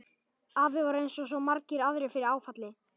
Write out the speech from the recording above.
Afi varð eins og svo margir aðrir fyrir áfalli.